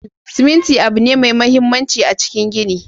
Siminti abu ne mai mahimmanci a cikin gini.